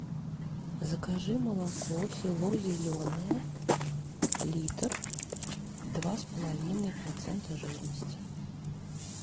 закажи молоко село зеленое литр два с половиной процента жирности